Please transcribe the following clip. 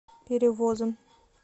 перевозом